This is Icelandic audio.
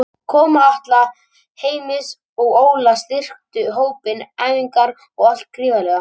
Koma Atla, Heimis og Óla styrktu hópinn, æfingarnar og allt gríðarlega.